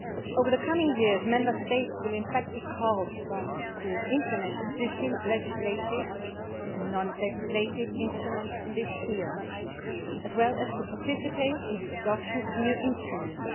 Over the coming years, Member States will in fact be called upon to implement existing legislative and non legislative instruments in this field, as well as to participate in the adoption of new instruments.